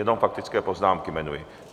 Jenom faktické poznámky jmenuji.